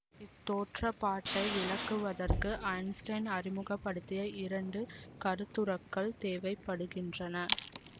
இத் தோற்றப்பாட்டை விளக்குவதற்கு ஐன்ஸ்டீன் அறிமுக படுத்திய இரண்டு கருத்துரக்கள் தேவை படுகின்றன